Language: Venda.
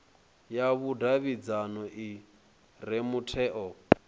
ya vhudavhidzano i re mutheo